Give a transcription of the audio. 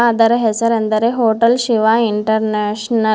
ಅದರ ಹೆಸರೆಂದರೆ hotel Shiva international .